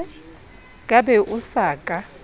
ka be o sa ka